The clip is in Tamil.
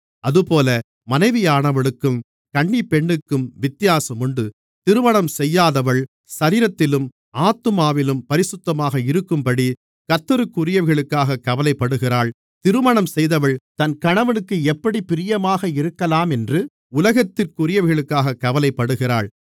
அதுபோல மனைவியானவளுக்கும் கன்னிப்பெண்ணுக்கும் வித்தியாசமுண்டு திருமணம் செய்யாதவள் சரீரத்திலும் ஆத்துமாவிலும் பரிசுத்தமாக இருக்கும்படி கர்த்தருக்குரியவைகளுக்காகக் கவலைப்படுகிறாள் திருமணம் செய்தவள் தன் கணவனுக்கு எப்படிப் பிரியமாக இருக்கலாமென்று உலகத்திற்குரியவைகளுக்காகக் கவலைப்படுகிறாள்